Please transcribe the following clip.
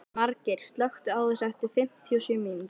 Margeir, slökktu á þessu eftir fimmtíu og sjö mínútur.